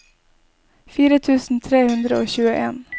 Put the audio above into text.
fire tusen tre hundre og tjueen